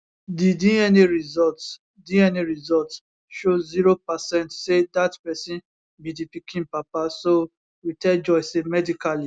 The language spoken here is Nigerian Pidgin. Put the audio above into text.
di dna results dna results show zero percent say dat pesin be di pikin papa so we tell joy say medically